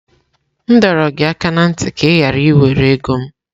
M dọrọ gị aka ná ntị ka ị ghara iwere ego m!